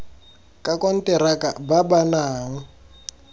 ka konteraka ba ba nang